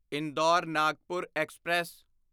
Indore Nagpur express